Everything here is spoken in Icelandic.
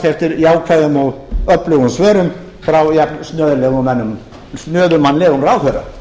eftir jákvæðum og öflugum svörum frá jafn snöfurmannlegum ráðherra